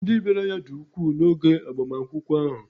ndị bịara ya dị ukwuu n'oge agbamakwụkwọ ahụ